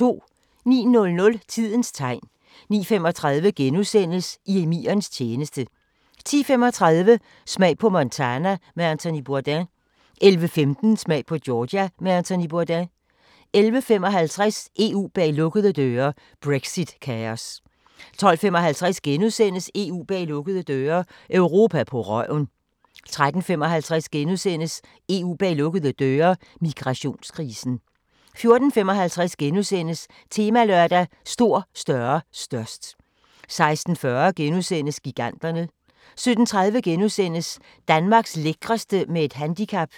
09:00: Tidens Tegn 09:35: I emirens tjeneste * 10:35: Smag på Montana med Anthony Bourdain 11:15: Smag på Georgia med Anthony Bourdain 11:55: EU bag lukkede døre: Brexit-kaos 12:55: EU bag lukkede døre: Europa på røven * 13:55: EU bag lukkede døre: Migrationskrisen * 14:55: Temalørdag: Stor, større, størst * 16:40: Giganterne * 17:30: Danmarks lækreste – med et handicap *